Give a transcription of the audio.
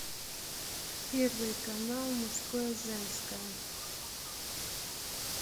первый канал мужское женское